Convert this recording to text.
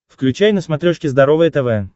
включай на смотрешке здоровое тв